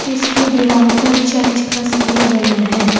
इसकी दीवार पर चर्च का साइन बना है।